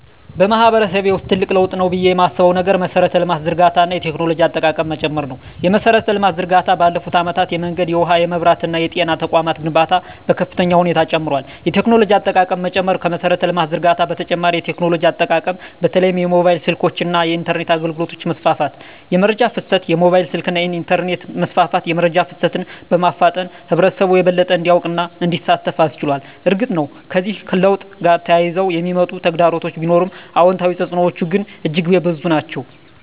በማህበረሰቤ ውስጥ ትልቅ ለውጥ ነው ብዬ የማስበው ነገር የመሠረተ ልማት ዝርጋታ እና የቴክኖሎጂ አጠቃቀም መጨመር ነው። የመሠረተ ልማት ዝርጋታ ባለፉት አመታት የመንገድ፣ የውሃ፣ የመብራት እና የጤና ተቋማት ግንባታ በከፍተኛ ሁኔታ ጨምሯል። የቴክኖሎጂ አጠቃቀም መጨመር ከመሠረተ ልማት ዝርጋታ በተጨማሪ የቴክኖሎጂ አጠቃቀም በተለይም የሞባይል ስልኮች እና የኢንተርኔት አገልግሎት መስፋፋት። * የመረጃ ፍሰት: የሞባይል ስልክና የኢንተርኔት መስፋፋት የመረጃ ፍሰትን በማፋጠን ህብረተሰቡ የበለጠ እንዲያውቅና እንዲሳተፍ አስችሏል። እርግጥ ነው፣ ከዚህ ለውጥ ጋር ተያይዘው የሚመጡ ተግዳሮቶች ቢኖሩም፣ አዎንታዊ ተፅዕኖዎቹ ግን እጅግ የበዙ ናቸው።